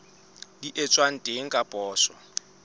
di etswang teng ka poso